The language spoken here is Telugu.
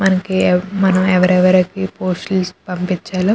ఎ మనం ఎవరెవరికి పోస్ట్ లు వేసి పంపించాలో --